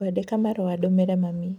Ngwandĩka marũa ndũmĩre mami.